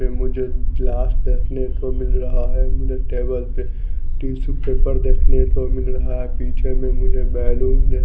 ये मुझे ग्लास देखने को मिल रहा है मुझे टेबल पे टिशु पेपर देखने को मिल रहा है पीछे में मुझे बैलून दे --